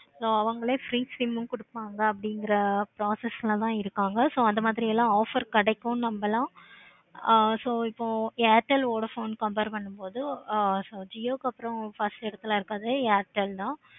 so அவங்களே free sim உம் கொடுத்துருவாங்க அப்படிங்கிற process ல தான் இருக்காங்க. so அந்த மாதிரி எல்லாம் offers கிடைக்கும் நம்பலாம். ஆஹ் so இப்போ airtel, vodafone compare பண்ணும் பொது jio க்கு அப்பறம் first எடத்துல இருக்குறது airtel தான்